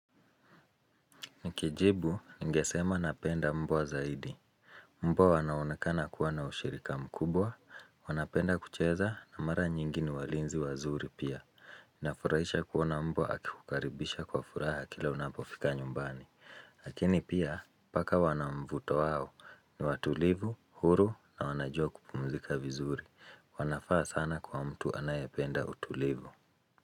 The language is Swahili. Nikijibu ningesema napenda mbwa zaidi. Mbwa wanaonekana kuwa na ushirika mkubwa, wanapenda kucheza na mara nyingi ni walinzi wazuri pia. Inafurahisha kuona mbwa akikukaribisha kwa furaha kila unapofika nyumbani. Lakini pia paka wanamvuto wao ni watulivu, huru na wanajua kupumzika vizuri, wanafaa sana kwa mtu anayapenda utulivu.